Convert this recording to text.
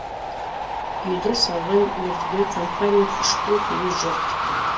үйді салған мердігер компания үшты күйлі жоқ